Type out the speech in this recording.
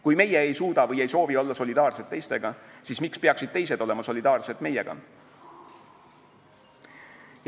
Kui meie ei suuda või ei soovi olla solidaarsed teistega, siis miks peaksid teised olema solidaarsed meiega?